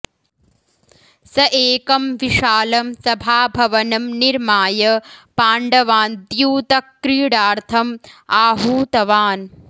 सः एकं विशालं सभाभवनं निर्माय पाण्डवान् द्यूतक्रीडार्थम् आहूतवान्